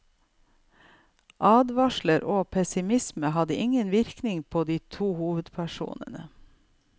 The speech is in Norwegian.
Advarsler og pessimisme hadde ingen virkning på de to hovedpersonene.